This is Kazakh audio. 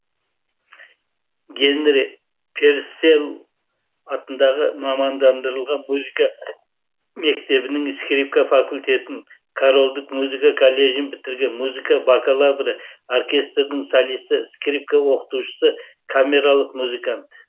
генри перселл атындағы мамандандырылған музыка мектебінің скрипка факультетін корольдік музыка колледжін бітірген музыка бакалавры оркестрдің солисі скрипка оқытушысы камералық музыкант